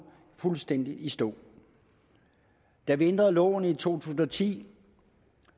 fuldstændig i stå da vi ændrede loven i to tusind og ti